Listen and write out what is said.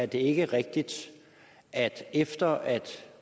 det ikke er rigtigt at efter at